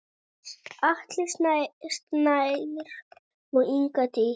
Atli Snær og Inga Dís.